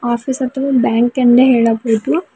Office ಅಥವಾ bank ಎಂದೇ ಹೇಳಬಹುದು.